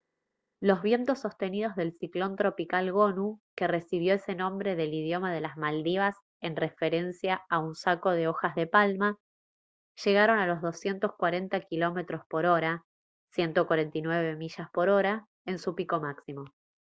los vientos sostenidos del ciclón tropical gonu que recibió ese nombre del idioma de las maldivas en referencia a un saco de hojas de palma llegaron a los 240 km/h 149 mph en su pico máximo